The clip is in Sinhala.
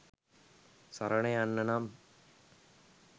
සරණ යන්න නම්